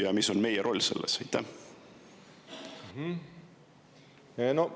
Ja mis on meie roll selles?